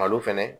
Malo fɛnɛ